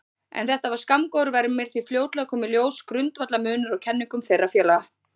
En þetta var skammgóður vermir því fljótlega kom í ljós grundvallarmunur á kenningum þeirra félaga.